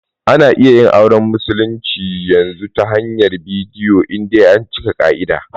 Ana iya yin auren musulmi yanzu ta hanyar bidiyo in dai an cika ƙa'ida.